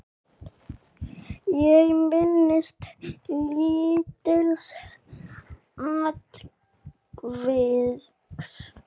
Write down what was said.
Ég minnist lítils atviks.